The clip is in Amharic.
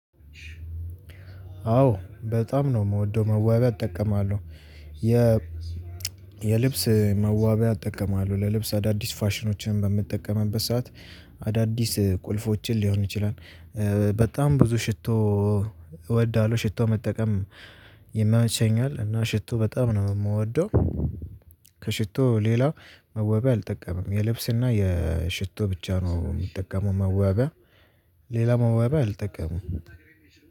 አዎ በጣም ነው ምወደው መዋቢያ እጠቀማለሁ የ የልብስ መዋቢያ እጠቀማለሁ ለልብስ አዳዲስ ፋሽኖችን በምጠቀምበት ሰዓት አዳዲስ ቁልፎችን ሊሆን ይችላል በጣም ብዙ ሽቶ እወዳለሁ። ሽቶ መጠቀም ይመቸኛል። እና ሽቶ በጣም ነው ምወደው። ከሽቶ ሌላ መዋብያ አልጠቀምም። የልብስ እና ሽቶ ብቻ ነው ምጠቀመው መዋቢያ፤ ሌላ መዋብያ አልጠቀምም።